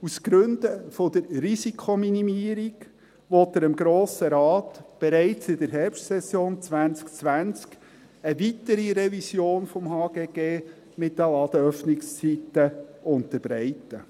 Aus Gründen der Risikominimierung will er dem Grossen Rat bereits in der Herbstsession 2020 eine weitere Revision des HGG mit den Ladenöffnungszeiten unterbreiten.